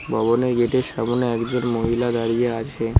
ভবনে গেটের সামোনে একজন মহিলা দাঁড়িয়ে আছে।